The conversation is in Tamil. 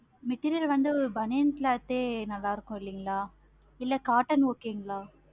material வந்து பனியன் cloth நல்லாருக்கும் இல்லைங்களா? இல்ல cotton okay இங்களா?